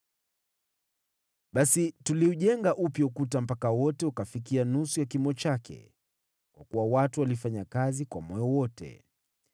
Basi tuliujenga upya ukuta mpaka wote ukafikia nusu ya kimo chake, kwa kuwa watu walifanya kazi kwa moyo wote.